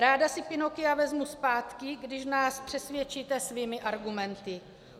Ráda si Pinocchia vezmu zpátky, když nás přesvědčíte svými argumenty.